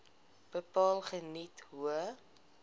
bepaal geniet hoë